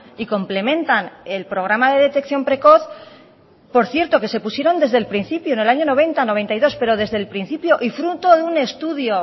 y complementan el programa de detección precoz por cierto que se pusieron desde el principio en el año noventa noventa y dos pero desde el principio y fruto de un estudio